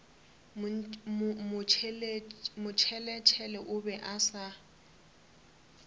motšheletšhele o be a sa